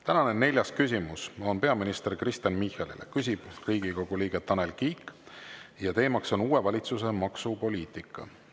Tänane neljas küsimus on peaminister Kristen Michalile, küsib Riigikogu liige Tanel Kiik ja teema on uue valitsuse maksupoliitika.